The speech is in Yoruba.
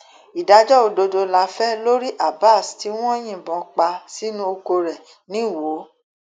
ìdájọ òdodo la fẹ lórí abas tí wọn yìnbọn pa sínú ọkọ rẹ nìwòo